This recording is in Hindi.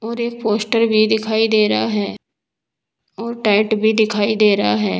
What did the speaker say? और एक पोस्टर भी दिखाई दे रहा है और टेंट भी दिखाई दे रहा है।